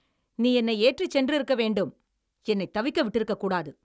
நீ என்னை ஏற்றிச் சென்றிருக்க வேண்டும், என்னை தவிக்க விட்டிருக்கக்கூடாது!